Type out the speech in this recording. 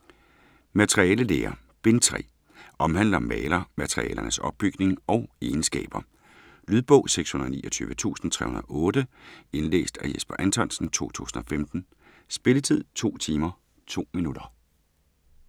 Materialelære Bind 3. Omhandler malermaterialernes opbygning og egenskaber. Lydbog 629308 Indlæst af Jesper Anthonsen, 2015. Spilletid: 2 timer, 2 minutter.